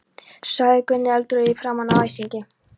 sagði Gunni eldrauður í framan af æsingi.